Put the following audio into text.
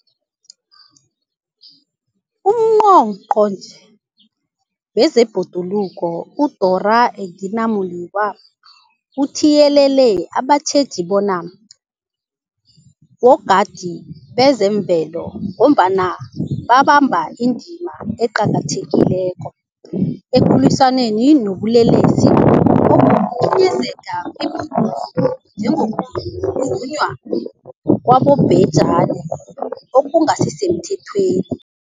UNgqongqotjhe wezeBhoduluko uDorh Edna Molewa uthiyelele abatjheji bona bogadi bezemvelo, ngombana babamba indima eqakathekileko ekulwisaneni nobulelesi obukhinyabeza ibhoduluko, njengokuzunywa kwabobhejani okungasisemthethweni.